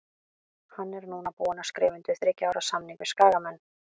Hann er núna búinn að skrifa undir þriggja ára samning við Skagamenn.